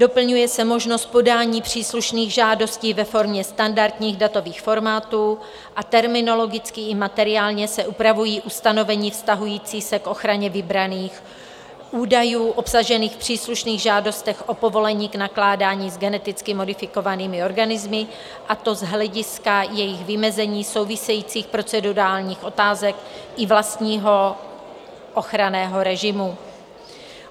Doplňuje se možnost podání příslušných žádostí ve formě standardních datových formátů a terminologicky i materiálně se upravují ustanovení vztahující se k ochraně vybraných údajů obsažených v příslušných žádostech o povolení k nakládání s geneticky modifikovanými organismy, a to z hlediska jejich vymezení, souvisejících procedurálních otázek i vlastního ochranného režimu.